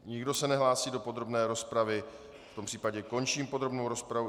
Nikdo se nehlásí do podrobné rozpravy, v tom případě končím podrobnou rozpravu.